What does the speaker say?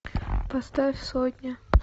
поставь сотня